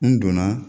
N donna